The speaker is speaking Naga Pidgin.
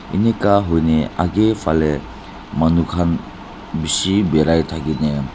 enika hoina akae phalae manu khan bishi birai thakina.